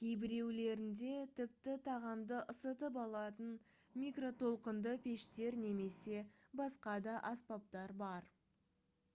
кейбіреулерінде тіпті тағамды ысытып алатын микротолқынды пештер немесе басқа да аспаптар бар